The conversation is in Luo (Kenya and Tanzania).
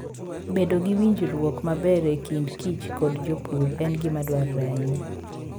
Bedo gi winjruok maber e kind kich kod jopur en gima dwarore ahinya.